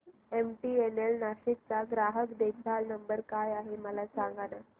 MTNL Nashik चा ग्राहक देखभाल नंबर काय आहे मला सांगाना